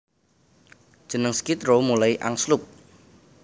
Jeneng Skid Row mulai angslup